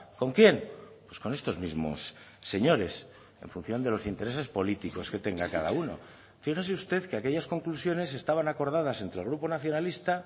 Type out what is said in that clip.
con quién pues con estos mismos señores en función de los intereses políticos que tenga cada uno fíjese usted que aquellas conclusiones estaban acordadas entre el grupo nacionalista